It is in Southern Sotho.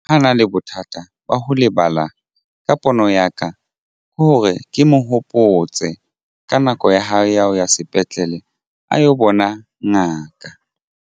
Ho na le bothata ba ho lebala ka pono ya ka ke hore ke mo hopotse ka nako ya hao ya ho ya sepetlele a lo bona ngaka.